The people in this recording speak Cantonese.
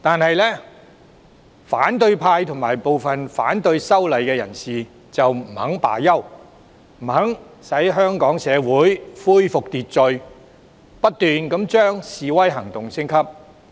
然而，反對派和部分反對修例的人士不肯就此罷休，不肯讓香港社會恢復秩序，不斷將示威行動升級。